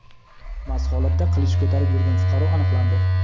mast holatda qilich ko‘tarib yurgan fuqaro aniqlandi.